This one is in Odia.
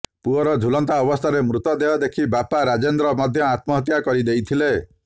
ପୁଅର ଝୁଲନ୍ତା ଅବସ୍ଥାରେ ମୃତଦେହ ଦେଖି ବାପା ରାଜେନ୍ଦ୍ର ମଧ୍ୟ ଆତ୍ମହତ୍ୟା କରିଦେଇଥିଲେ